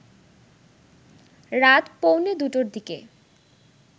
রাত পৌনে দুটোর দিকে